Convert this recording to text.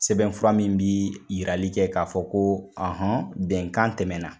Sɛbɛn fura min bi yirali kɛ k'a fɔ ko ɔhɔn bɛnkan tɛmɛ na.